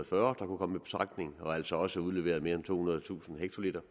fyrre og altså også udleverede mere end tohundredetusind hektoliter